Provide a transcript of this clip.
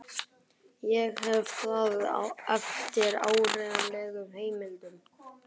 Ég hef það eftir áreiðanlegum heimildum.